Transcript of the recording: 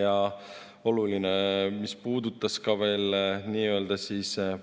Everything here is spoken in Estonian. Ja mis puudutab nii-öelda